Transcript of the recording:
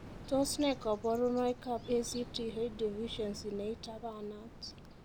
Tos nee koborunoikab ACTH deficiency neitapanat?